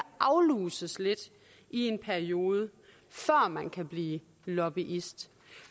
afluses lidt i en periode før man kan blive lobbyist